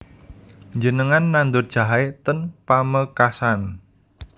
Njenengan nandur jahe ten Pamekasan